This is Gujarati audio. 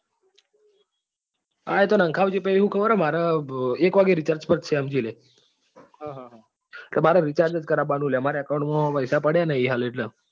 હા એ તો નાખાવજે પછી શું ખબર મારે એક recharge પતશે સમજી લે કે મારે recharge જ કરાવવા નું છે કેમ કે મારા account માં પૈસા પડ્યા નથી હાલ એટલે